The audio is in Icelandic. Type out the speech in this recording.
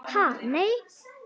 Ha, nei.